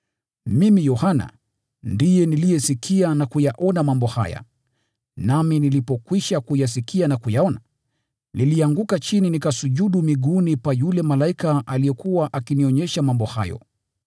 Mimi, Yohana, ndiye niliyesikia na kuyaona mambo haya. Nami nilipokwisha kuyasikia na kuyaona, nilianguka chini nikasujudu miguuni pa yule malaika aliyekuwa akinionyesha mambo hayo.